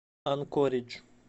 анкоридж